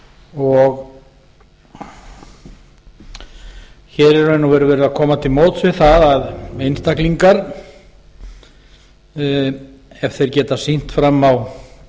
í raun og veru verið að koma til móts við það að einstaklingar ef þeir geta sýnt fram á